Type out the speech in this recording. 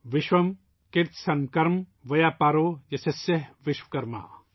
सन्म कर्म व्यापारो यस्य सः विश्वकर्मा'